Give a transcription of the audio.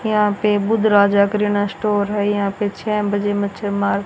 यहां पे बुद्ध राजा किराना स्टोर है यहां पे छ बजे मच्छर मार--